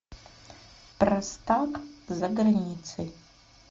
простак за границей